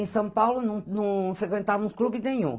Em São Paulo não não frequentavamos clube nenhum.